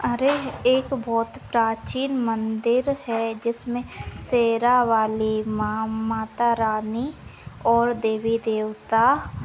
अरे एक बहुत प्राचीन मंदिर है जिसमे शेरावाली माँ मातारानी और देवी देवता--